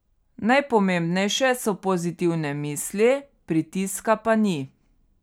Najpomembnejše so pozitivne misli, pritiska pa ni.